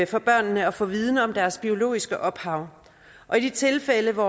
for børnene at få viden om deres biologiske ophav i de tilfælde hvor